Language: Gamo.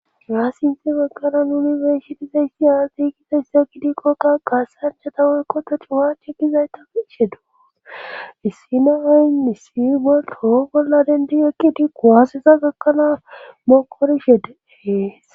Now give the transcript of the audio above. haa sinthi bagara nuni besitizayssi atigizayssa gidikqokka qasanchata worko ta cuwache gizayta ishe do issi na ayy misfi bol toho bolla denti eqqid kuwaaseza gakkanaa mokorishe de'es